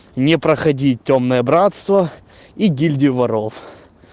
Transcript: не проходить тёмное братство и гильдию воров